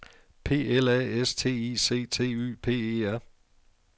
P L A S T I C T Y P E R